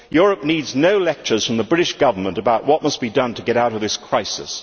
Europe needs no lectures from the British Government about what must be done to get out of this crisis.